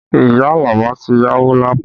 Iya Alaba ti yáwó Lapo